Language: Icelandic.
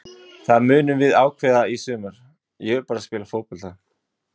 Það munum við ákveða í sumar, ég vil bara spila fótbolta.